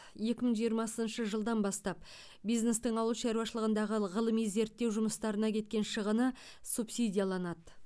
екі мың жиырмасыншы жылдан бастап бизнестің ауыл шаруашылығындағы ғылыми зерттеу жұмыстарына кеткен шығыны субсидияланады